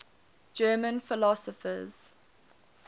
german philosophers